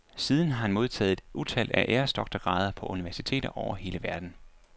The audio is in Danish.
Siden har han modtaget et utal af æresdoktorgrader på universiteter over hele verden.